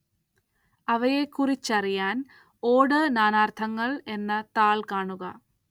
അവയെക്കുറിച്ചറിയാന്‍ ഓട് നാനാര്‍ത്ഥങ്ങള്‍ എന്ന താള്‍ കാണുക